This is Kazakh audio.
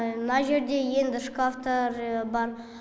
мына жерде енді шкафтар бар